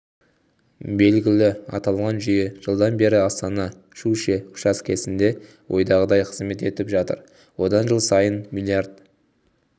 белгілі аталған жүйе жылдан бері астана-щучье учаскесінде ойдағыдай қызмет етіп жатыр одан жыл сайын млрд